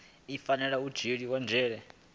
i fanela u dzhiela nzhele